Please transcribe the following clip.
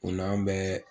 O n'an bɛɛ